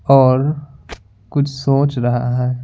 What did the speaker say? और कुछ सोच रहा है।